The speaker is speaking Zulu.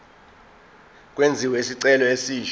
kwenziwe isicelo esisha